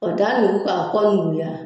K'o da nugu k'a kɔ nuguya